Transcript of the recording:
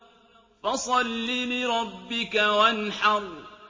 فَصَلِّ لِرَبِّكَ وَانْحَرْ